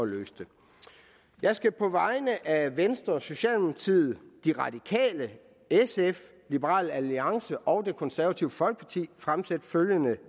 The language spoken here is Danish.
løse det jeg skal på vegne af venstre socialdemokratiet de radikale sf liberal alliance og det konservative folkeparti fremsætte følgende